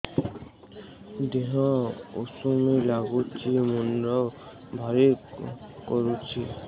ଦିହ ଉଷୁମ ନାଗୁଚି ମୁଣ୍ଡ ଭାରି କରୁଚି